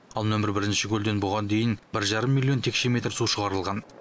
ал нөмір бірінші көлден бұған дейін бір жарым миллион текше метр су шығарылған